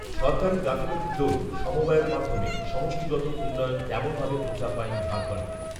সরকারি গাফিলতির দরুণ সমবায়ের মাধ্যমে সমষ্টিগত উন্নয়ন তেমনভাবে প্রচার পায়নি ঝাড়খণ্ডে